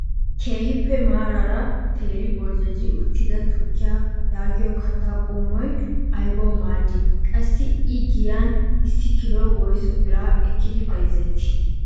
Keehippe maarara teeraa boljjojji uttida tukkiyaa yaagiyoo kattaa qommoy aybawu maaddii? qassi i giyan issi kiloy woyssu biraa ekkidi bayzettii?